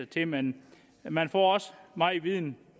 til men man får også meget viden